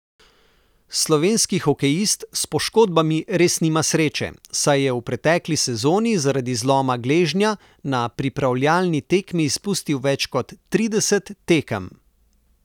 Slovenski hokejist s poškodbami res nima sreče, saj je v pretekli sezoni zaradi zloma gležnja na pripravljalni tekmi izpustil več kot trideset tekem.